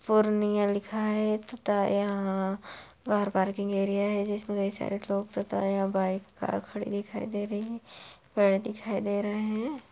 पूर्णिया लिखा है तथा यहां गाड़ी पार्किंग एरिया है कई सारे लोग तथा यहां बाइक कार खड़ी दिखाई दे रही है पेड़ दिखाई दे रहे हैं।